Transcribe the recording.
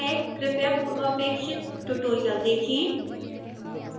कृपया पूर्वपेक्षित ट्यूटोरियल देखें